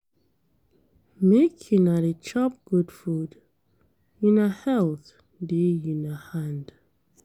Make una dey chop good food, una health dey una hand.